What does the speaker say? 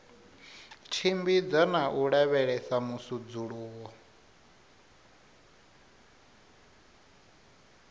tshimbidza na u lavhelesa musudzuluwo